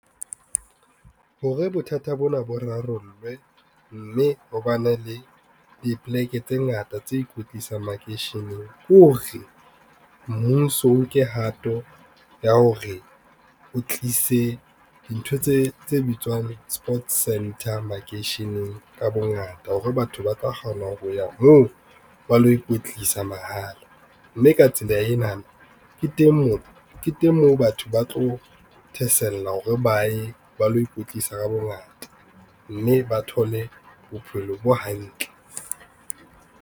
Hore bothata bona bo rarollwe, mme ho bane le dipoleke tse ngata tse ikwetlisang makeisheneng, ko re mmuso o nke hato ya hore o tlise dintho tse bitswang sports center makeisheneng ka bongata hore batho ba ka kgona ho ya moo ba lo ikwetlisa mahala. Mme ka tsela enana ke teng moo batho ba tlo thasella hore ba ye ba lo ikwetlisa ka bongata mme ba thole bophelo bo hantle.